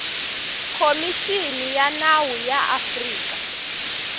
khomixini ya nawu ya afrika